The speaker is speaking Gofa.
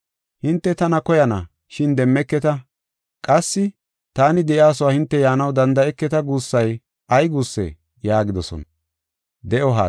‘Hinte tana koyana, shin demmeketa’ qassi, ‘Taani de7iyasuwa hinte yaanaw danda7eketa’ guussay ay guussee?” yaagidosona.